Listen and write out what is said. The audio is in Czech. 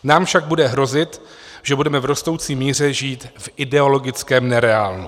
Nám však bude hrozit, že budeme v rostoucí míře žít v ideologickém nereálnu.